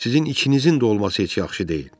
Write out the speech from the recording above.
Sizin ikinizin də olması heç yaxşı deyil.